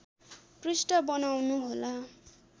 पृष्ठ बनाउनुहोला